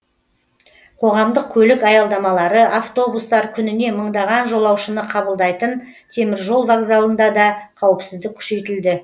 қоғамдық көлік аялдамалары автобустар күніне мыңдаған жолаушыны қабылдайтын теміржол вокзалында да қауіпсіздік күшейтілді